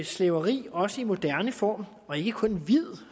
slaveri også i sin moderne form og ikke kun hvid